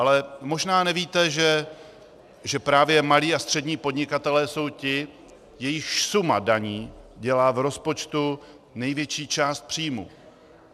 Ale možná nevíte, že právě malí a střední podnikatelé jsou ti, jejichž suma daní dělá v rozpočtu největší část příjmů.